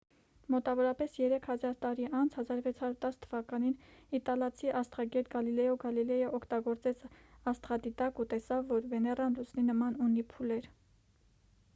մոտավորապես երեք հազար տարի անց 1610 թ իտալացի աստղագետ գալիլեո գալիլեյը օգտագործեց աստղադիտակ ու տեսավ որ վեներան լուսնի նման ունի փուլեր